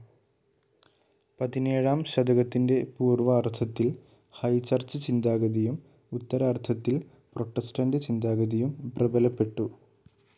പതിനേഴാം ശതകത്തിന്റെ പൂർവാർധത്തിൽ ഹൈചർച്ച് ചിന്താഗതിയും ഉത്തരാർധത്തിൽ പ്രൊട്ടസ്റ്റന്റ് ചിന്താഗതിയും പ്രബലപ്പെട്ടു.